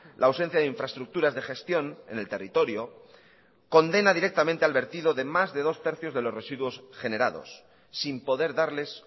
la ausencia de infraestructuras de gestión en el territorio condena directamente al vertido de más de dos tercios de los residuos generados sin poder darles